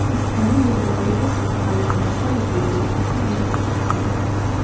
Ispaniya Yevropa Ligasidagi g‘alabalar soni bo‘yicha Italiyani ortda qoldirdi.